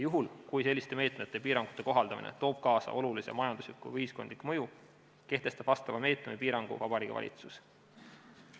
Juhul, kui selliste meetmete ja piirangute kohaldamine toob kaasa olulise majandusliku või ühiskondliku mõju, kehtestab vastava meetme või piirangu Vabariigi Valitsus.